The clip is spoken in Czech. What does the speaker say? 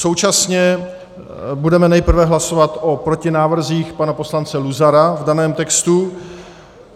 Současně budeme nejprve hlasovat o protinávrzích pana poslance Luzara v daném textu.